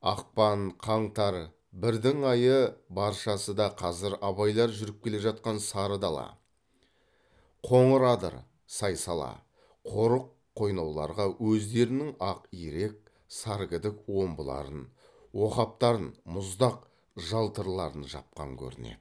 ақпан қаңтар бірдің айы баршасы да қазір абайлар жүріп келе жатқан сары дала қоңыр адыр сай сала қорық қойнауларға өздерінің ақ ирек сар кідік омбыларын оқаптарын мұздақ жалтырларын жапқан көрінеді